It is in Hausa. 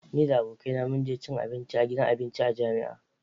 Ni da abokaina mun je cin abinci a gidan abinci a jami'a.